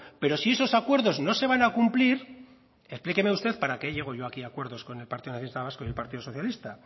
pero si esos acuerdos no se van a cumplir explíqueme usted para qué llego yo aquí acuerdos con el partido nacionalista vasco y el partido socialista